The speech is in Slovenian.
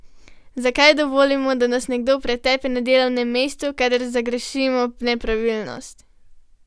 Zakaj ne dovolimo, da nas nekdo pretepe na delovnem mestu, kadar zagrešimo nepravilnost?